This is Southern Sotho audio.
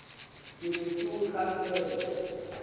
ke be ke o tlatsela